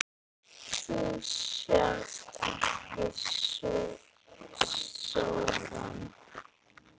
Þú sást ekki sorann.